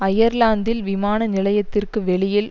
அயர்லாந்தில் விமான நிலையத்திற்கு வெளியில்